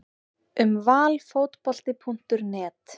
Um Valfotbolti.net